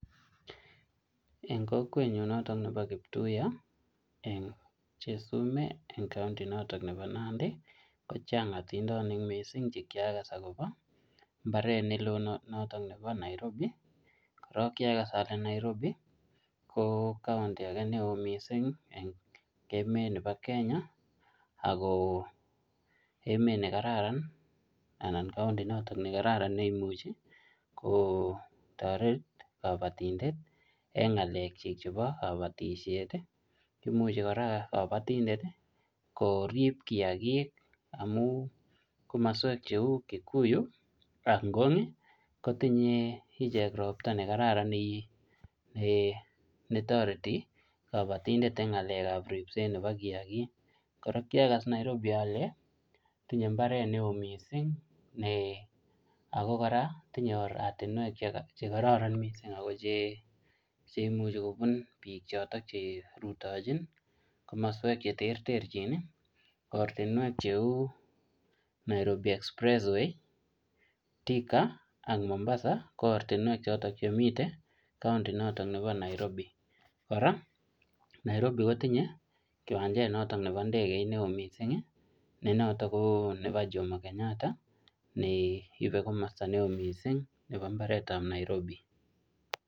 Eng' kokwenyu noto nebo kiptuiya eng' chesumei eng' county notok nebo Nandi kochang' atindonik mising' chekiakas akobo mbaret nelo noto nebo Nairobi korok kiakas ale Nairobi ko county ake neo oo mising' eng' emet nebo Kenya ako emet nekararan anan county noto nekararan neimuchi kotoret kabatindet eng' ng'alek chi chebo kabatishet imuchi kora kabatindet korip kiyakik amu komoswek cheu Kikuyu ak Ngong' kotinyei iche ropta nekararan netoreti kabotindet eng' ng'alekab ripset nebo kiyakik kora kiakas Nairobi ale tinyei mbaret ne oo mising' ako kora tinyei oratinwek chekororon mising' ako cheimuchi kobun biik chotok cherutochin komoswek cheterterchin ortinwek cheu Nairobi express way Thika ak Mombasa ko ortinwek chotok chemitei county notok nebo Nairobi kora Nairobi kotinyei kiwanjet notok nebo ndegeit ne oo mising' ne noto ko nebo Jomo Kenyatta neibe komosta ne oo mising' nebo mbaretab Nairobi